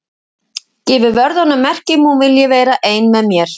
Gefur vörðunum merki um að hún vilji vera ein með mér.